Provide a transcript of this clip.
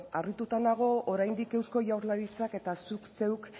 harrituta nago oraindik eusko jaurlaritzak eta zuk zeuk